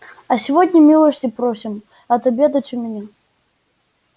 а сегодня милости просим отобедать у меня